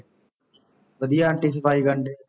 ਵਧੀਆ ਆਂਟੀ ਸਫ਼ਾਈ ਕਰਨ ਡਏ।